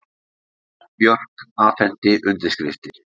Björk afhenti undirskriftir